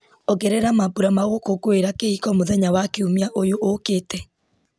ongerera mambura magũkũngũĩra kĩhiko mũthenya wa kiumia ũyũ ũũkĩte